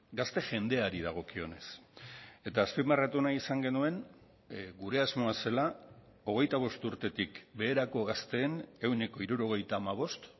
gazte jendeari dagokionez eta azpimarratu nahi izan genuen gure asmoa zela hogeita bost urtetik beherako gazteen ehuneko hirurogeita hamabost